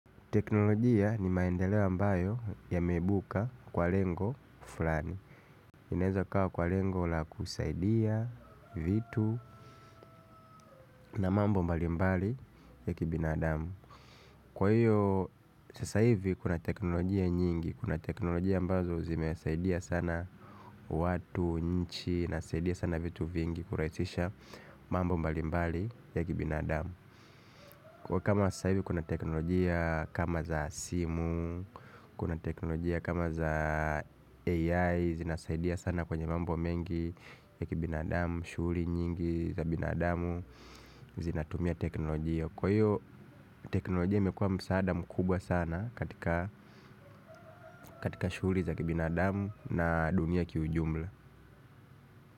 Teknolojia ni maendeleo ambayo yamebuka kwa lengo fulani. Inaeza kawa kwa lengo la kusaidia vitu na mambo mbali mbali ya kibinadamu. Kwa hiyo sasa hivi kuna teknolojia nyingi, kuna teknolojia ambazo zimesaidia sana watu, nchi na saidia sana vitu vingi kurahisisha mambo mbali mbali ya kibina damu. Kwa kama sasa hivi kuna teknolojia kama za simu, kuna teknolojia kama za AI zinasaidia sana kwenye mambo mengi ya kibinadamu, shughuli nyingi za binadamu zinatumia teknolojia. Kwa hiyo teknolojia imekuwa msaada mkubwa sana katika shughuli za kibinadamu na dunia kiujumla.